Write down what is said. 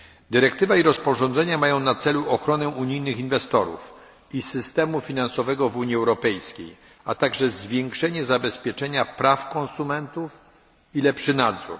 Dyrektywa i rozporządzenia mają na celu ochronę unijnych inwestorów i systemu finansowego w Unii Europejskiej, a także zwiększenie zabezpieczenia praw konsumentów i lepszy nadzór.